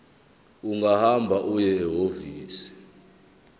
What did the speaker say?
ungahamba uye ehhovisi